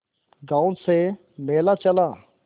गांव से मेला चला